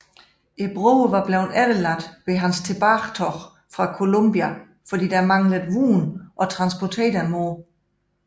Broerne var blevet efterladt ved hans tilbagetog fra Columbia fordi der mangledes vogne at transportere dem på